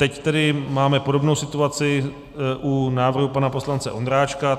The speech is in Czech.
Teď tedy máme podobnou situaci u návrhu pana poslance Ondráčka.